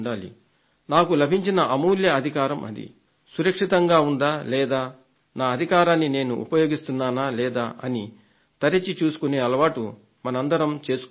నాకు లభించిన అమూల్య అధికారం అది సురక్షితంగా ఉందా లేదా నా అధికారాన్ని నేను ఉపయోగిస్తున్నానా లేదా అని తరచి చూసుకునే అలవాటు మనమందరం చేసుకోవాలి